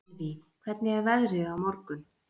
Elvý, hvernig er veðrið á morgun?